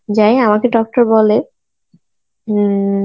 যাই আমাকে doctor বলে উম